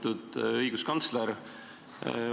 Lugupeetud õiguskantsler!